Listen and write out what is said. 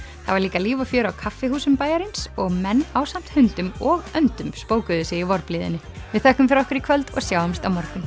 það var líka líf og fjör á kaffihúsum bæjarins og menn ásamt hundum og öndum spókuðu sig í vorblíðunni við þökkum fyrir okkur í kvöld og sjáumst á morgun